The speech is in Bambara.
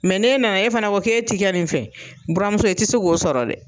ne nana e fana ko k' ee tɛ kɛ nin fɛ buramuso i tɛ se k'o sɔrɔ dɛ.